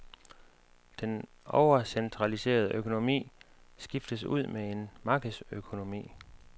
Den overcentraliserede økonomi skiftes ud med en markedsøkonomi.